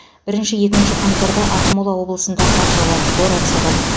бірінші екінші қаңтарда ақмола облысында қар жауады боран соғады